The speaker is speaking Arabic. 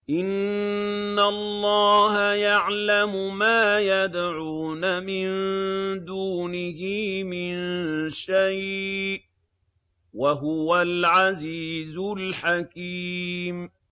إِنَّ اللَّهَ يَعْلَمُ مَا يَدْعُونَ مِن دُونِهِ مِن شَيْءٍ ۚ وَهُوَ الْعَزِيزُ الْحَكِيمُ